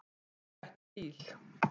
Á ekki bíl.